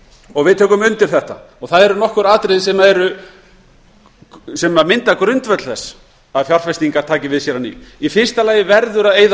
og við tökum undir þetta það eru nokkur atriði sem mynda grundvöll þess að fjárfestingar taki við sér í fyrsta lagi verður að eyða